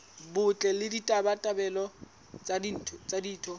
botle le ditabatabelo tsa ditho